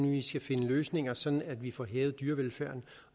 vi skal finde løsninger sådan at vi får hævet dyrevelfærden